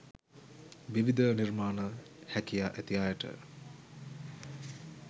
විවිධ නිර්මාණ හැකියා ඇති අයට